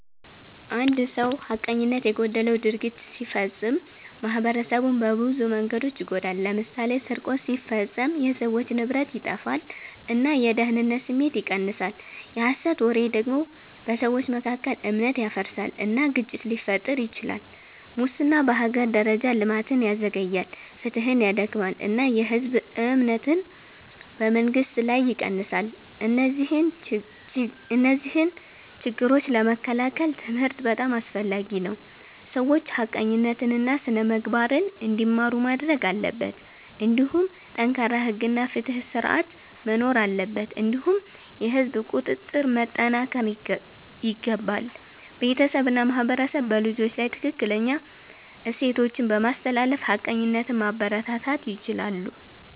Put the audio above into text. አንድ ሰው ሐቀኝነት የጎደለው ድርጊት ሲፈጽም ማኅበረሰቡን በብዙ መንገዶች ይጎዳል። ለምሳሌ ስርቆት ሲፈጸም የሰዎች ንብረት ይጠፋል እና የደህንነት ስሜት ይቀንሳል። የሐሰት ወሬ ደግሞ በሰዎች መካከል እምነት ያፈርሳል እና ግጭት ሊፈጥር ይችላል። ሙስና በሀገር ደረጃ ልማትን ያዘግያል፣ ፍትሕን ያዳክማል እና የህዝብ እምነትን በመንግስት ላይ ይቀንሳል። እነዚህን ችግኝ ለመከላከል ትምህርት በጣም አስፈላጊ ነው፤ ሰዎች ሐቀኝነትን እና ስነ-ምግባርን እንዲማሩ ማድረግ አለበት። እንዲሁም ጠንካራ ሕግ እና ፍትሕ ስርዓት መኖር አለበት እንዲሁም የህዝብ ቁጥጥር መጠናከር ይገባል። ቤተሰብ እና ማህበረሰብ በልጆች ላይ ትክክለኛ እሴቶችን በማስተላለፍ ሐቀኝነትን ማበረታታት ይችላሉ።